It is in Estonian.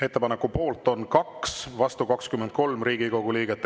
Ettepaneku poolt on 2, vastu 23 Riigikogu liiget.